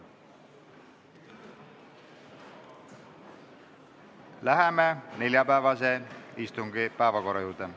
Läheme neljapäevase istungi päevakorra juurde.